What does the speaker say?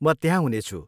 म त्यहाँ हुनेछु।